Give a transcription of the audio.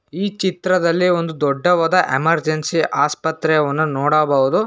ಈ ಚಿತ್ರದಲ್ಲಿ ಒಂದು ದೊಡ್ಡವಾದ ಎಮರ್ಜೆನ್ಸಿ ಆಸ್ಪತ್ರೆವನ್ನ ನೋಡಬಹುದು.